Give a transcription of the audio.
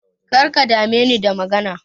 Karka dame ni da magana.